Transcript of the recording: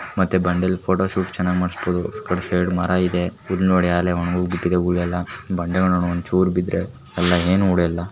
ಮತ್ತೆ ಬಂಡ್ಲಫೋಟೋ ಶೂಟ್ ಮಾಡಿಸಬಹುದು ಇದ್ ನೋಡಿ ಮರ ಇದೆ ಹೂ ಬಿಟ್ಟ್ಟಿದೆ. ಬಂಡೆ ಒಂಚೂರ್ ಬಿದ್ರೆ ಏನು ಉಲುಯೋದಿಲ್ಲ .